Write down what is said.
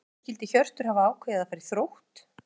Af hverju skyldi Hjörtur hafa ákveðið að fara í Þrótt?